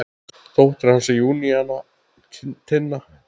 Dóttir hans er Júníana Tinna.